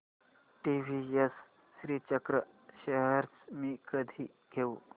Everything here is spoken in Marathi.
टीवीएस श्रीचक्र शेअर्स मी कधी घेऊ